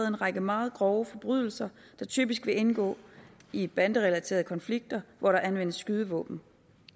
en række meget grove forbrydelser der typisk vil indgå i banderelaterede konflikter hvor der anvendes skydevåben